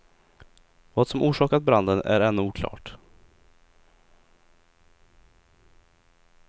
Vad som orsakat branden är ännu oklart.